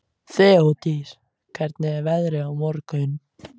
Þeódís, hvernig er veðrið á morgun?